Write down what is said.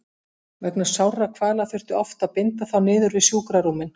Vegna sárra kvala þurfti oft að binda þá niður við sjúkrarúmin.